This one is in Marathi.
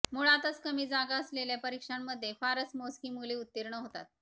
मुळातच कमी जागा असलेल्या परीक्षांमध्ये फारच मोजकी मुले उत्तीर्ण होतात